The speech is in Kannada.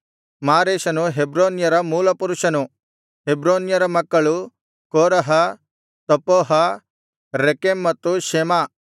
ಮಾರೇಷನು ಹೆಬ್ರೋನ್ಯರ ಮೂಲಪುರುಷನು ಹೆಬ್ರೋನ್ಯರ ಮಕ್ಕಳು ಕೋರಹ ತಪ್ಪೂಹ ರೆಕೆಮ್ ಮತ್ತು ಶೆಮ